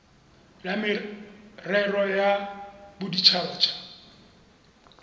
la merero ya bodit habat